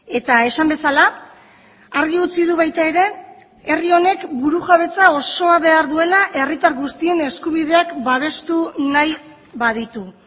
eta esan bezala argi utzi du baita ere herri honek burujabetza osoa behar duela herritar guztien eskubideak babestu nahi baditu